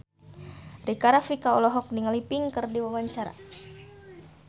Rika Rafika olohok ningali Pink keur diwawancara